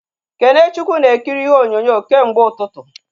Kenechukwu na ekiri ihe onyonyo kemgbe ụtụtụ